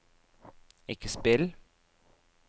ikke spill